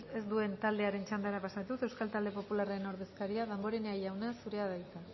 ez duen taldearen txandara pasatuz euskal talde popularraren ordezkaria damborenea jauna zurea da hitza